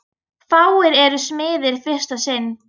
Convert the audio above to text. Fáir eru smiðir í fyrsta sinn.